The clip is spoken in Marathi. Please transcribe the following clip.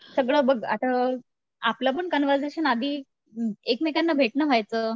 सगळं बघ आता आपलं पण कान्वरसेशन आधी एकमेकांना भेटणं व्हायचं